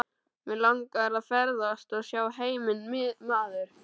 Mig langar að ferðast og sjá heiminn maður.